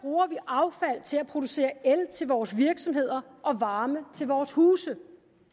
og til at producere el til vores virksomheder og varme til vores huse